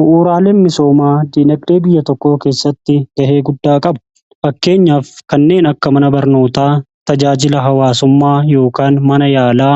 Bu'uuraa misoomaa diinagdee biyya tokkoo keessatti ga'ee guddaa qabu. Fakkeenyaaf kanneen akka mana barnootaa tajaajila hawaasummaa yookaan mana yaalaa